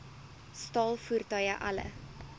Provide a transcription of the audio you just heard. staal voertuie alle